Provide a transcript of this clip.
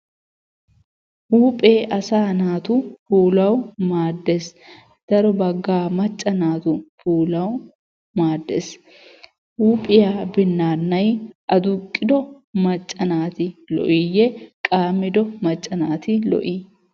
Huuphphee asaa naatu puulawu maaddees. Daro baggaa macca naatu puulawu maaddees. Huuphphiya binnaanay adduqqiddo macca naati lo'iyye qammiddo macca naati lo'i?